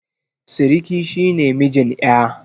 Siriki shi ne mijin ƴa.